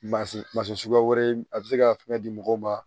Ma se mansin suguya wɛrɛ ye a bɛ se ka fɛn di mɔgɔw ma